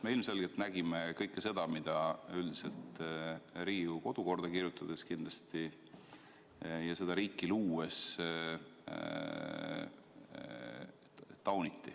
Me ilmselgelt nägime kõike seda, mida üldiselt Riigikogu kodukorda kirjutades ja kindlasti seda riiki luues tauniti.